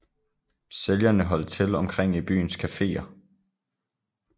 Sælgerne holdt til omkring i byens kaféer